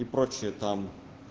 и прочее там